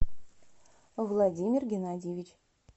владимир геннадьевич